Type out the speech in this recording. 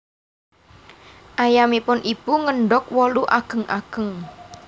Ayamipun Ibu ngendog wolu ageng ageng